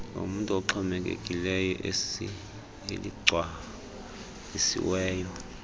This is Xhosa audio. lomntu oxhomekekileyo eligcwalisiweyo